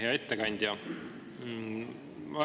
Hea ettekandja!